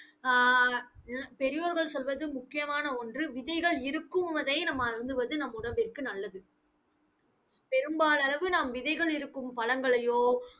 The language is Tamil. ஆஹ் பெரியோர்கள் சொல்வது முக்கியமான ஒன்று, விதைகள் இருக்குவதை நம் அருந்துவது நம் உடம்பிற்கு நல்லது பெரும்பாலானது நாம் விதைகள் இருக்கும் பழங்களையோ